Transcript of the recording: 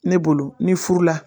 Ne bolo ni furu la